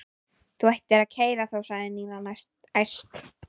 Þú ættir að kæra þá sagði Nína æst.